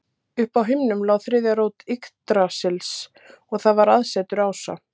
uppi á himnum lá þriðja rót yggdrasils og þar var aðsetur ása